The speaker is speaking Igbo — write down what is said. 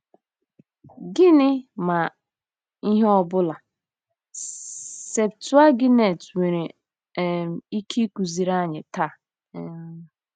Gịnị, ma ihe ọbụla, Septụaginti nwere um ike ịkụziri anyị taa um?